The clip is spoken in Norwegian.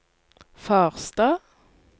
Farstad